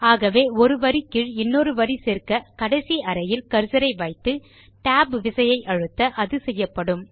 ஆகவே ஒரு வரி கீழ் இன்னொரு வரி சேர்க்க கடைசி அறையில் கர்சர் ஐ வைத்து Tab விசையை அழுத்த அது செய்யப்படும்